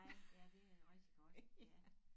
Nej ja det er rigtig godt ja